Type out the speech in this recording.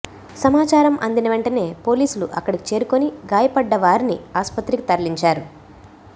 సమాచారం అందిన వెంటనే పోలీసులు అక్కడికి చేరుకుని గాయపడ్డావారిని ఆస్పత్రికి తరలించారు